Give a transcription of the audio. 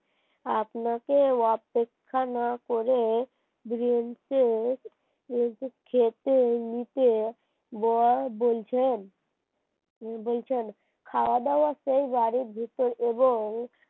আপনাকে অপেক্ষা না করে নিজে খেতে নিতে বলছেন বলছেন খাওয়া-দাওয়া সেই বাড়ির ভেতর এবং